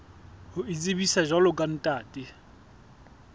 ho itsebisa jwalo ka ntate